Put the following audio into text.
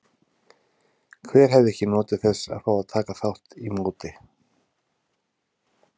Hver hefði ekki notið þess að fá að taka þátt í móti?